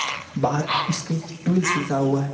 बाहर उसके टविल्स लिखा हुआ है।